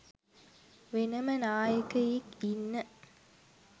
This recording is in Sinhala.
වෙනම නායකයෙක් ඉන්න